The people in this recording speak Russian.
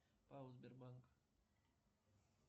пао сбербанк